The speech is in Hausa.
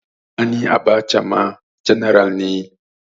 Sani Abacha ma janar ne